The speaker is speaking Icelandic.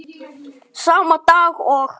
Sama dag og